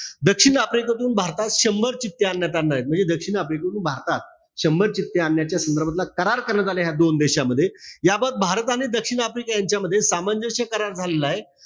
दक्षिण आफ्रिकेतून भारतात शंभर चित्ते आणण्यात आणणार. म्हणजे दक्षिण आफ्रिकेतुन भारतात शंभर चित्ते आणण्याच्या संदर्भातला करार करण्यात आला. ह्या दोन देशामध्ये. याबत भारत आणि दक्षिण आफ्रिका यांच्यामध्ये सामंजस्य करार ठरलेलाय.